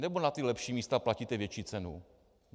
Nebo na ta lepší místa platíte větší cenu?